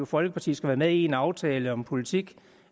folkeparti skal være med i en aftale om politik